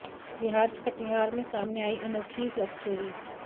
बिहार के कटिहार में सामने आई अनोखी लव स्टोरी